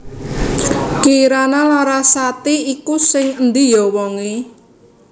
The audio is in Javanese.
Kirana Larasati iku sing endi yo wong e?